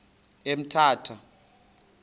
emthatha